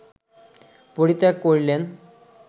পরিত্যাগ করিলেন